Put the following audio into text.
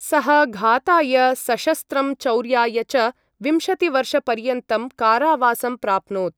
सः घाताय सशस्त्रं चौर्याय च विंशतिवर्षपर्यन्तं कारावासं प्राप्नोत्।